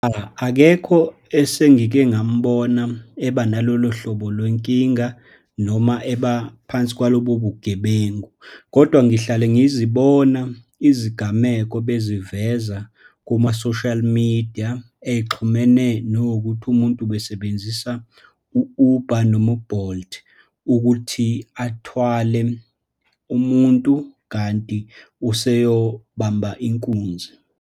Akekho esengikengambona eba nalolo hlobo lwenkinga, noma eba phansi kwalobo bugebengu. Kodwa ngihlale ngizibona izigameko beziveza kuma-social media eyixhumene nokuthi umuntu ubesebenzisa u-Uber noma u-Bolt ukuthi athwale umuntu kanti useyobamba inkunzi.